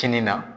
Kinin na